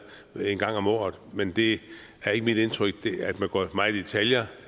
en gang om året men det er ikke mit indtryk at man går meget i detaljer